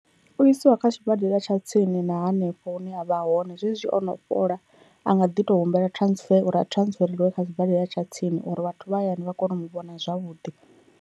U isiwa kha tshibadela tsha tsini na hanefho hune a vha hone, zwezwi ono fhola a nga ḓi to humbela transfer uri a transfereliwa kha sibadela tsha tsini uri vhathu vha hayani vha kone u mu vhona zwavhuḓi.